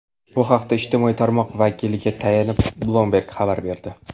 Bu haqda ijtimoiy tarmoq vakiliga tayanib, Bloomberg xabar berdi .